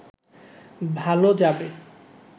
ভালো যাবে